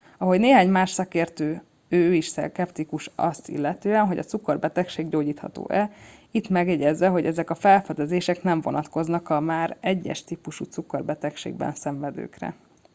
ahogy néhány más szakértő ő is szkeptikus azt illetően hogy a cukorbetegség gyógyítható e itt megjegyezve hogy ezek a felfedezések nem vonatkoznak a már 1 es típusú cukorbetegségben szenvedőkre